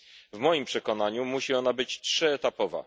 W moim przekonaniu musi ona być trzyetapowa.